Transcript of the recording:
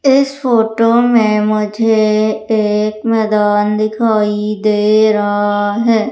इस फोटो में मुझे एक मैदान दिखाई दे रहा है।